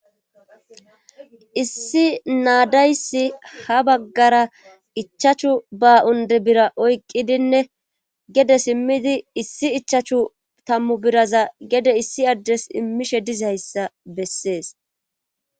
issi naa daysi ha baggara ichachu baunde bira oyqqidinne gede simmidi issi ichachu tammu biraza gede issi addes immishe dizayssa bessees